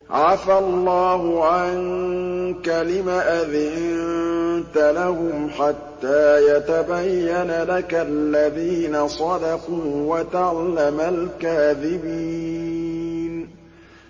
عَفَا اللَّهُ عَنكَ لِمَ أَذِنتَ لَهُمْ حَتَّىٰ يَتَبَيَّنَ لَكَ الَّذِينَ صَدَقُوا وَتَعْلَمَ الْكَاذِبِينَ